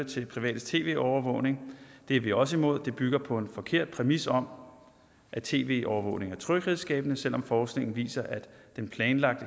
til privates tv overvågning er vi også imod det bygger på en forkert præmis om at tv overvågning er tryghedsskabende selv om forskningen viser at den planlagte